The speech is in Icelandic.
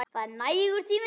Það er nægur tími.